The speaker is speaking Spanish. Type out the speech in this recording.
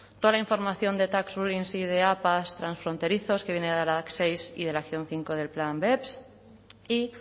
toda la información de tax sideapa transfronterizos que viene de la dac seis y de la acción cinco del plan beps